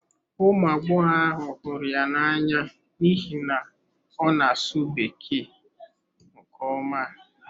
Ụmụ agbọghọ ahụ hụrụ ya n'anya n'ihi na ọ na-asụ Bekee nke ọma.